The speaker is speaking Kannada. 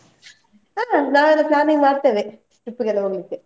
ಹಾ ನಾವೆಲ್ಲಾ planning ಮಾಡ್ತೇವೆ, trip ಗೆಲ್ಲಾ ಹೋಗ್ಲಿಕ್ಕೆ.